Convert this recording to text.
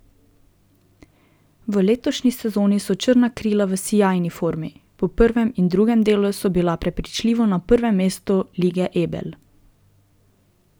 V letošnji sezoni so Črna krila v sijajni formi, po prvem in drugem delu so bila prepričljivo na prvem mestu Lige Ebel.